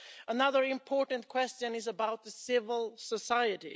Another important question is about civil society.